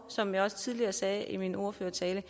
som jeg også tidligere sagde i min ordførertale